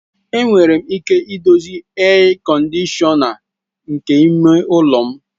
Enwere m ike dozie ea kọndishọna nke ime ụlọ m.